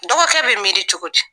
Dɔgɔ kɛ bɛ miiri cogo di.